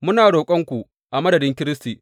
Muna roƙonku a madadin Kiristi.